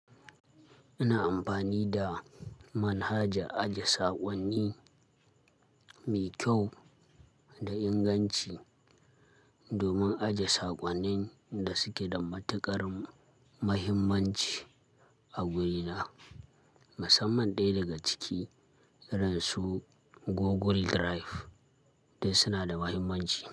Ina amfani da manhaja aje sakonni mai kyau da inganci domin aje sakonnin da suke da matuƙar muhimmanci a gurina. Musamman ɗaya daga ciki, irin su Google Drive duk suna da muhimmanci.